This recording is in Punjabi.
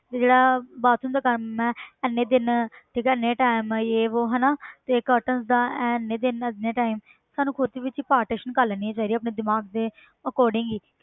ਵੀ ਜਿਹੜਾ bathroom ਦਾ ਕੰਮ ਹੈ ਇੰਨੇ ਦਿਨ ਠੀਕ ਹੈ ਇੰਨੇ time ਜੇ ਵੋਹ ਹਨਾ ਤੇ curtain ਦਾ ਇਹ ਇੰਨੇ ਦਿਨ ਇੰਨੇ time ਸਾਨੂੰ ਖੁੱਦ ਵਿੱਚ partition ਕਰ ਲੈਣੀਆਂ ਚਾਹੀਦੀਆਂ ਆਪਣੇ ਦਿਮਾਗ ਦੇ according ਹੀ